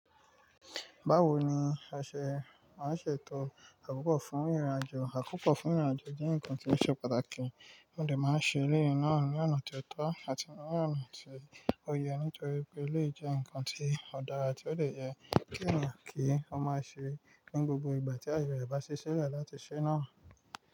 Báwo ni a ṣe, máa ṣe ètò àkópò fún ìrìnàjò? Àkópò fún ìrìnàjò jẹ́ ǹkan tí o ṣe pàtàkì, ó lè máa ṣe léyìn náà ní ọ̀nà tí ó tọ́ àti ní ọ̀nà tí ó yẹ nítorí pé e lè jẹ́ ǹkan tí ó dára tí ó lè yẹ kí ènìyàn kí ó máa ṣe ní gbogbo ìgbà tí ayẹrẹ bá ṣiṣẹ́ rẹ̀ láti ṣẹ́ náà.